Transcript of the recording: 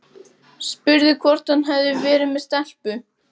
Spurði hvort hann hefði verið með stelpu.